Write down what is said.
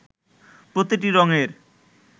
প্রতিটি রঙের